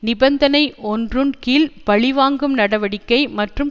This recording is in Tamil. நிபந்தனை ஒன்றுன் கீழ் பழி வாங்கும் நடவடிக்கை மற்றும்